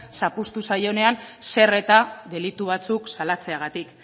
zapuztu zaionean zer eta delitu batzuk salatzeagatik